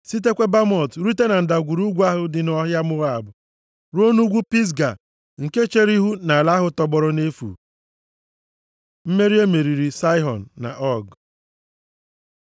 Sitekwa Bamot rute na ndagwurugwu ahụ dị nʼọhịa Moab, ruo nʼugwu Pisga, nke chere ihu nʼala ahụ tọgbọrọ nʼefu. Mmeri e meriri Saịhọn na Ọg